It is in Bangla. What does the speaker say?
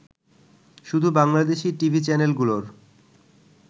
শুধু বাংলাদেশি টিভি চ্যানেলগুলোর